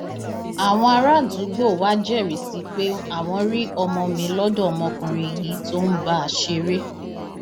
àwọn àràádúgbò wàá jẹrìí sí i pé àwọn rí ọmọ mi lọdọ ọmọkùnrin yìí tó ń bá a ṣeré